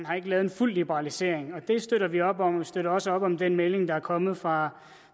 har lavet en fuld liberalisering det støtter vi op om og vi støtter også op om den melding der er kommet fra